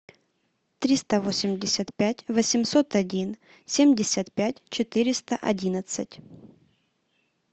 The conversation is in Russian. триста восемьдесят пять восемьсот один семьдесят пять четыреста одинадцать